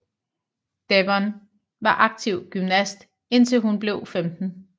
Devon var aktiv gymnast indtil hun blev 15